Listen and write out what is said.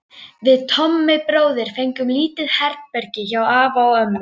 Við Tommi bróðir fengum lítið herbergi hjá afa og ömmu.